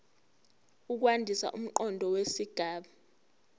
ukwandisa umqondo wesigaba